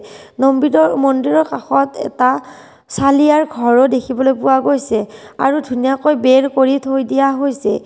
মন্দিৰৰ কাষত এটা চলিয়াৰ ঘৰো দেখিবলৈ পোৱা গৈছে আৰু ধুনীয়াকৈ বেৰ কৰি থৈ দিয়া হৈছে।